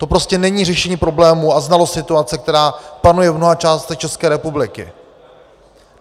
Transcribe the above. To prostě není řešení problémů a znalost situace, která panuje v mnoha částech České republiky.